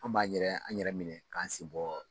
An b'an yɛrɛ, an yɛrɛ minɛ k'an sen bɔ